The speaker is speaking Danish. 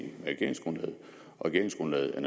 regeringsgrundlaget og